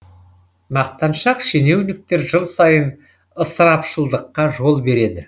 мақтаншақ шенеуніктер жыл сайын ысырапшылдыққа жол береді